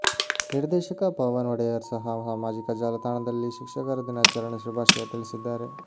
ನಿರ್ದೇಶಕ ಪವನ್ ಒಡೆಯರ್ ಸಹ ಸಾಮಾಜಿಕ ಜಾಲತಾಣದಲ್ಲಿ ಶಿಕ್ಷಕರ ದಿನಾಚರಣೆ ಶುಭಾಶಯ ತಿಳಿಸಿದ್ದಾರೆ